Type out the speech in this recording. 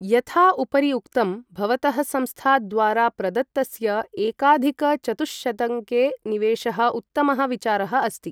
यथा उपरि उक्तं, भवतः संस्था द्वारा प्रदत्तस्य एकाधिक चतुःशतंके निवेशः उत्तमः विचारः अस्ति।